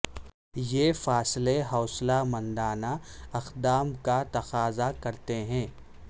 یہ فاصلے حوصلہ مندانہ اقدام کا تقاضا کرتے ہیں